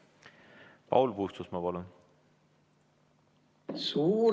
Paul Puustusmaa, palun!